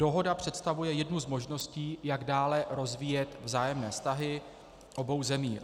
Dohoda představuje jednu z možností, jak dále rozvíjet vzájemné vztahy obou zemí.